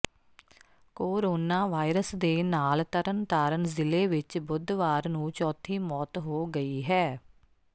corona virus ਦੇ ਨਾਲ ਤਰਨਤਾਰਨ ਜ਼ਿਲ੍ਹੇ ਵਿਚ ਬੁੱਧਵਾਰ ਨੂੰ ਚੌਥੀ ਮੋਤ ਹੋ ਗਈ ਹੈ